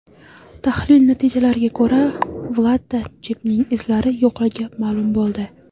Tahlil natijalariga ko‘ra Vladda Jebning izlari yo‘qligi ma’lum bo‘ldi.